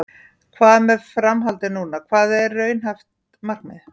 Hvað með framhaldið núna, hvað er raunhæft markmið?